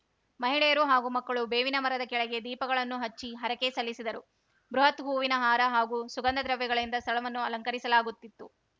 ಮಹಿಳೆಯರು ಹಾಗೂ ಮಕ್ಕಳು ಬೇವಿನ ಮರದ ಕೆಳಗೆ ದೀಪಗಳನ್ನು ಹಚ್ಚಿ ಹರಕೆ ಸಲ್ಲಿಸಿದರು ಬೃಹತ್‌ ಹೂವಿನ ಹಾರ ಹಾಗೂ ಸುಗಂಧ ದ್ರವ್ಯಗಳಿಂದ ಸ್ಥಳವನ್ನು ಅಲಂಕರಿಸಲಾಗುತ್ತಿತ್ತು